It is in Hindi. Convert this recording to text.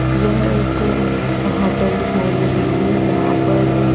यह एक होटल दिखाई दे रही है जहां पर--